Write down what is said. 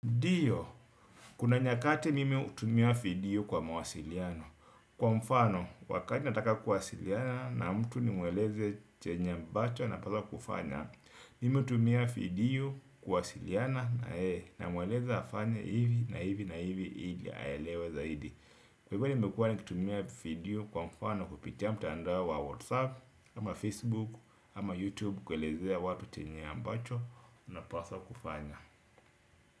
Ndio, kuna nyakati mimi hutumia video kwa mawasiliano. Kwa mfano, wakati nataka kuwasiliana na mtu nimweleze chenye ambacho napaswa kufanya. Mimi hutumia video kuwasiliana na yeye namweleze afanye hivi na hivi na hivi ili aelewe zaidi. Kwa hivyo nimekuwa nikitumia video kwa mfano kupitia mtaandao wa WhatsApp, ama Facebook, ama YouTube kuelezea watu chenye ambacho napaswa kufanya.